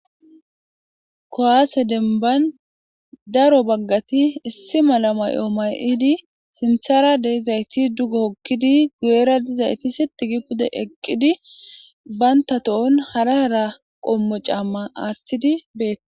Ku'ase deniban daro bagati issi mala mayo mayidi sinithara dizayis duge wokidi guyera dizays sitigi pude eqidi banta tohon hara hara qommo cama athidi betosona